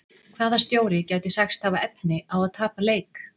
Hvaða stjóri gæti sagst hafa efni á að tapa leik?